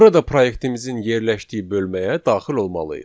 Burada proyektimizin yerləşdiyi bölməyə daxil olmalıyıq.